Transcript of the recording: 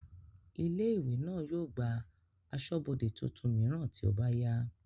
ilé ìwé náà yóò gba asọ́bọdè tuntun mìíràn tí ó bá yá